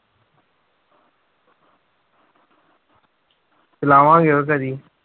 ਚਲਾਵਾਂਗੇ ਉਹ ਕਦੇ।